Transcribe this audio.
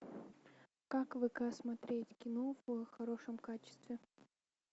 как вк смотреть кино в хорошем качестве